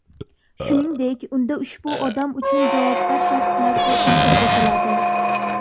Shuningdek, unda ushbu odam uchun javobgar shaxslar ko‘rsatib o‘tiladi.